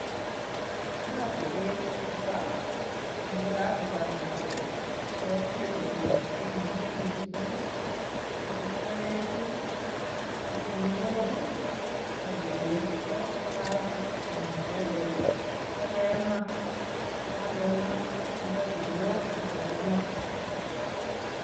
Kiyote beek kobaa ak yekakoba beek ketik keboishen moshinishek kii ak ityo kebir en kinyok kii ak kibesho chafu ak muchelek ak ityo kemaa yekakemaa kinde kinyok ak kekonor.